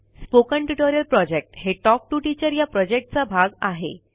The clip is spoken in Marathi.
स्पोकन ट्युटोरियल प्रॉजेक्ट हे टॉक टू टीचर या प्रॉजेक्टचा भाग आहे